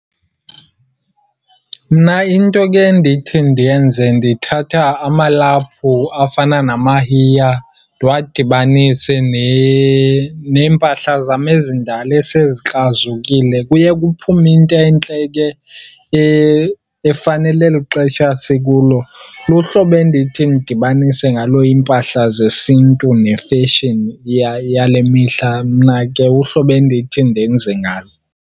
Mna into ke endithi ndiyenze, ndithatha amalaphu afana namahiya ndiwadibanise neempahla zam ezindala esezikrazukile. Kuye kuphume into entle ke efanele eli xesha sikulo. Luhlobo endithi ndidibanise ngalo iimpahla zesiNtu ne-fashion yale mihla mna ke, uhlobo endithi ndenze ngalo.